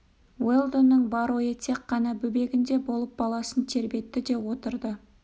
уэлдонның бар ойы тек қана бөбегінде болып баласын тербетті де отырды